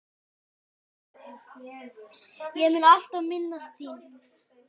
Ég mun alltaf minnast þín.